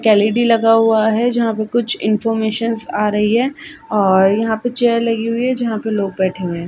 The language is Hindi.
एलइडी लगा हुआ है जहाँ पे कुछ इन्फोर्मेश्न्स आ रही है और यहाँ पे चेयर लगी हुई है जहाँ पे लोग बैठे हुए हैं।